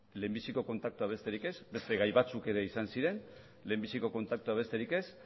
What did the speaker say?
lehenbiziko kontaktua besterik ez beste gai batzuk ere izan ziren lehenbiziko kontaktua besterik ez